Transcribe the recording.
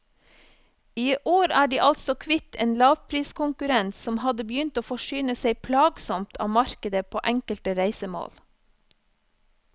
I år er de altså kvitt en lavpriskonkurrent som hadde begynt å forsyne seg plagsomt av markedet på enkelte reisemål.